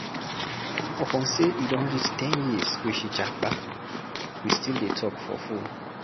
upon sey e don reach ten years wey she japa, we still dey talk for fone.